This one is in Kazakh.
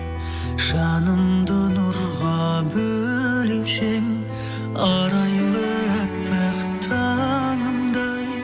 жанымды нұрға бөлеуші ең арайлы аппақ таңымдай